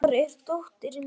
Elmar, hvar er dótið mitt?